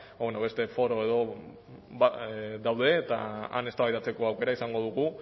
ba bueno beste foro edo daude eta han eztabaidatzeko aukera izango dugu